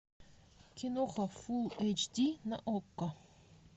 киноха фулл эйч ди на окко